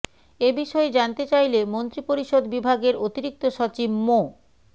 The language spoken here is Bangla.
এ বিষয়ে জানতে চাইলে মন্ত্রিপরিষদ বিভাগের অতিরিক্ত সচিব মো